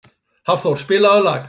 Hafþór, spilaðu lag.